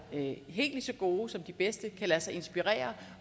helt lige så gode som de bedste kan lade sig inspirere